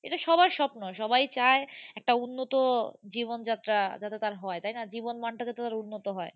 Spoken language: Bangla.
এটা সবার স্বপ্ন। সবাই চায়, একটা উন্নত জীবন যাত্রা যাতে তার হয় তাই না? জীবন মানটা কে তার উন্নত হয়।